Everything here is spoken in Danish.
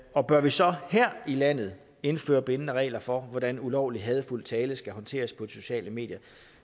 og bør vi så her i landet indføre bindende regler for hvordan ulovlig hadefuld tale skal håndteres på de sociale medier